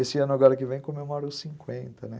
Esse ano agora que vem comemoro os cinquenta, né?